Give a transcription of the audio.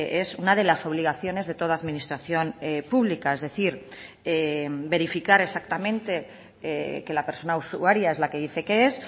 es una de las obligaciones de toda administración pública es decir verificar exactamente que la persona usuaria es la que dice que es